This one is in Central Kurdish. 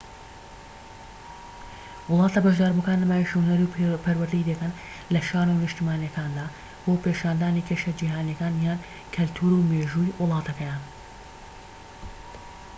وڵاتە بەشداربووەکان نمایشی هونەری و پەروەردەیی دەکەن لە شانۆ نیشتیمانیەکاندا بۆ پیشاندانی کێشە جیهانیەکان یان کەلتور و مێژووی وڵاتەکەیان